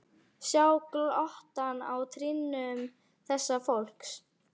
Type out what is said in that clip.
Sjá glottið á trýnum þessa fólks.